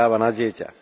práva na dieťa.